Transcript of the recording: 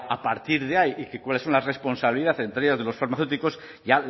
a partir de ahí y cuáles son la responsabilidad entre ellas de los farmacéuticos ya